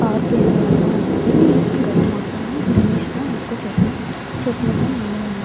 Park area లా వున్నది. ఇక్కడ మొత్తం గ్రీనిష్ గా ఎక్కువ చెట్టులు చెట్టల తో నిండి వున్నది.